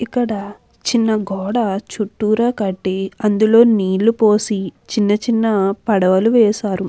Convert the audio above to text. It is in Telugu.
ఇక్కడా చిన్న గోడ చుట్టూరా కట్టి అందులో నీళ్లు పోసి చిన్న చిన్న పడగలు వేశారు.